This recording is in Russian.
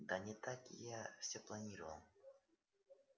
да не так я всё планировал